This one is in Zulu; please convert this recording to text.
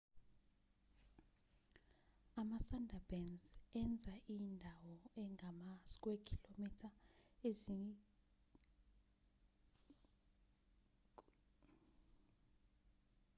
ama-sundarbans enza indawo engama-3,850 km² leyo ingxenye yesithathu yayo yembozwe yizindawo ezingamanzi/ubhuku